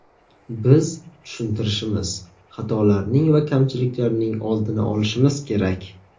Biz tushuntirishimiz, xatolarning va kamchiliklarning oldini olishimiz kerak.